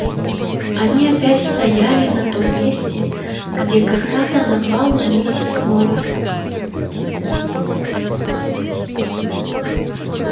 они опять стояли на том месте где когда-то напал на миссис норрис